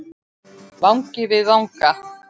Vangi við vanga.